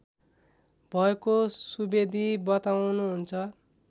भएको सुवेदी बताउनुहुन्छ